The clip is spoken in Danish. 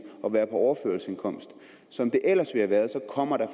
at være på overførselsindkomst som det ellers ville have været så kommer der